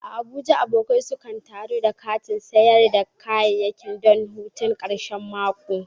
A Abuja, abokai sukan taru a kantin sayar da kayayyaki don hutun karshen mako.